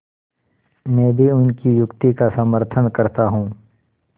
मैं भी उनकी युक्ति का समर्थन करता हूँ